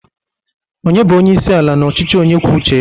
onye bu onye isi ala n'ọchịchị onye kwuo uche ya?